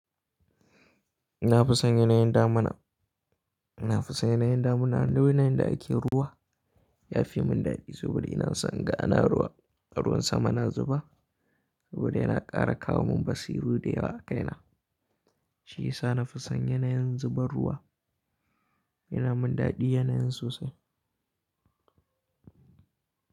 Na fi son yanayin damina. Na fi son yanayin damuna. Lolayin da ake ruwa ya fi mun dadi saboda ina son ga ana ruwa. A ruwan sama na zuba saboda yana ƙara kawo mun basiru da yawa a kaina. Shiyasa na fi son yanayin zubar ruwa. Yana mun dadi yanayin sosai.